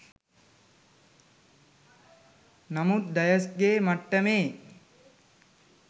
නමුත් ඩයස් ගේ මට්ටමේ